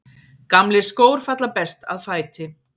Gamlir skór falla best að fæti.